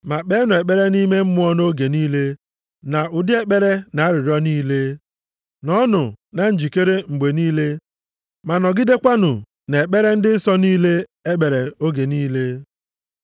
Ma kpeenụ ekpere nʼime Mmụọ nʼoge niile na ụdị ekpere na arịrịọ niile. Nọọnụ na njikere mgbe niile ma nọgidekwanụ na-ekpere ndị nsọ niile ekpere oge niile.